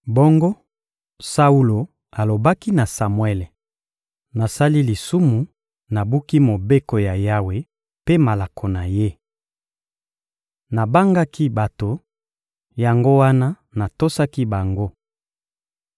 Bongo Saulo alobaki na Samuele: — Nasali lisumu, nabuki mobeko ya Yawe mpe malako na Ye. Nabangaki bato, yango wana natosaki bango.